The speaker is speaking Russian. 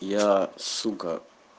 я сука